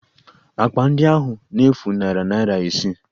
Akpa ndị ahụ na-efu narị naira isii